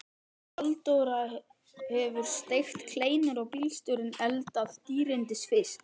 Halldóra hefur steikt kleinur og bílstjórinn eldað dýrindis fisk.